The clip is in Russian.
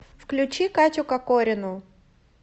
включи катю кокорину